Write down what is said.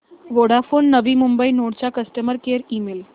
Vodafone Navi Mumbai node चा customer care email